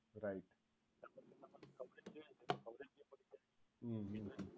right hmm hmm hmm right